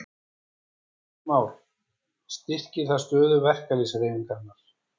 Heimir Már: Styrkir það stöðu verkalýðshreyfingarinnar?